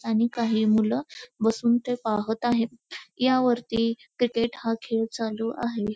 आणि काही मुल बसून ते पाहत आहेत यावरती क्रिकेट हा खेळ चालू आहे.